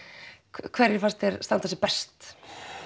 hverjir fannst þér standa sig best